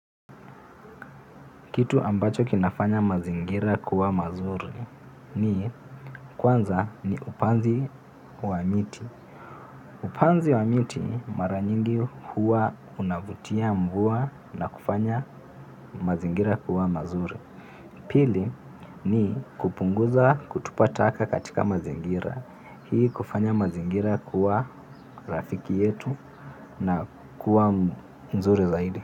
Kitu ambacho kinafanya mazingira kuwa mazuri ni kwanza ni upanzi wa miti. Upanzi wa miti mara nyingi huwa unavutia mvua na kufanya mazingira kuwa mazuri. Pili ni kupunguza kutupa taka katika mazingira. Hii hufanya mazingira kuwa rafiki yetu na kuwa mzuri zaidi.